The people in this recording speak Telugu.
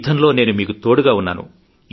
యుద్ధంలో నేను మీకు తోడుగా ఉన్నాను